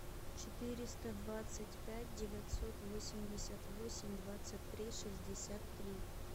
четыреста двадцать пять девятьсот восемьдесят восемь двадцать три шестьдесят три